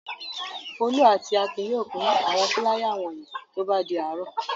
Folú àti Akin yóò pín àwọn fúláyà wọ̀nyí tó bá di àárọ̀.